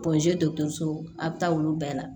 dɔkɔtɔriso a bi taa olu bɛɛ la